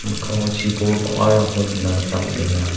mikkango chibol bang·arangko nikna gita man·enga.